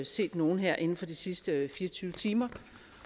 set nogle her inden for de sidste fire og tyve timer